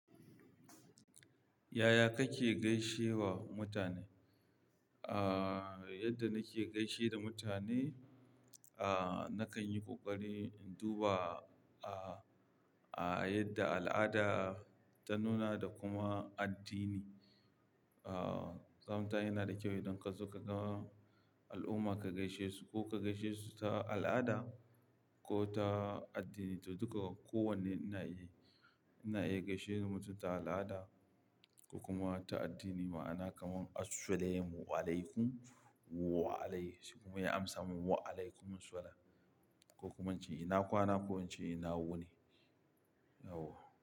Yaya kake gaishe wa mutane? Aaa, yadda nake gaishe da mutane, aa, nakan yi ƙoƙari in duba, aa, a yadda al'ada ta nuna da kuma addini. Aa, sometime yana da kyau idan ka zo ka ga al'umma ka gaishe su ko ka gaishe su ta al'ada ko ta addini, to duk kowane ina iya, ina iya gaishe da mutum ta al'ada ko kuma ta addini. Ma'ana kaman assalamualaikum waalaikum wa alaihi assalam kuma ya amsa min waalaikumussalam ko kuma in ce ina kwana ko in ce ina wuni. Yauwa.